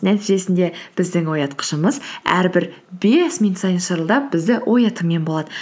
нәтижесінде біздің оятқышымыз әрбір бес минут сайын шырылдап бізді оятумен болады